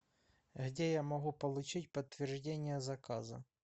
где я могу получить подтверждение заказа